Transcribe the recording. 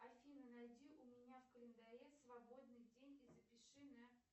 афина найди у меня в календаре свободный день и запиши на